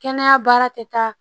Kɛnɛya baara tɛ taa